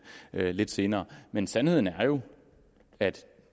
og jeg lidt senere men sandheden er jo at